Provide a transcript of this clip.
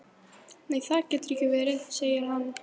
Nei það getur ekki verið, segir hann.